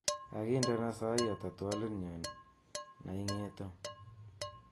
Kakindena sai ata twoliotnyu naingeto